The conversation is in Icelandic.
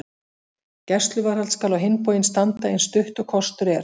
Gæsluvarðhald skal á hinn bóginn standa eins stutt og kostur er.